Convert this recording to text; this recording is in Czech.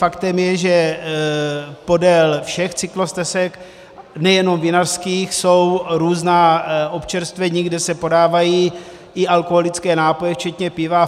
Faktem je, že podél všech cyklostezek, nejenom vinařských, jsou různá občerstvení, kde se podávají i alkoholické nápoje včetně piva.